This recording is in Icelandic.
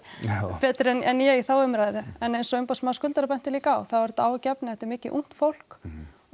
betri en ég í þá umræðu en eins og umboðsmaður skuldara benti líka á þá er þetta áhyggjuefni þetta er mikið ungt fólk og